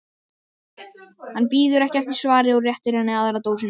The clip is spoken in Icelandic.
Hann bíður ekki eftir svari og réttir henni aðra dósina.